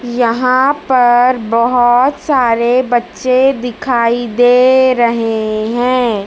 यहां पर बहोत सारे बच्चे दिखाई दे रहे हैं।